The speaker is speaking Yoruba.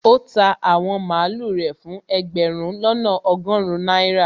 ó ta àwọn màlúù rẹ̀ fún ẹgbẹ̀rún lọ́nà ọgọrun náírà